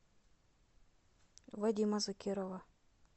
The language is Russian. вадима закирова